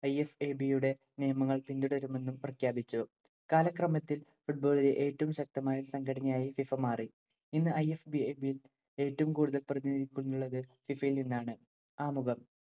IFAB യുടെ യുടെ നിയമങ്ങൾ പിന്തുടരുമെന്നു പ്രഖ്യാപിച്ചു. കാലക്രമത്തിൽ football ഇലെ ഏറ്റവും ശക്തമായ സംഘടനയായി FIFA മാറി. ഇന്ന് IFAB യിൽ ഏറ്റവും കൂടുതൽ പ്രതിനിധികളുള്ളത്‌ FIFA യിൽ നിന്നാണ്‌. ആമുഖം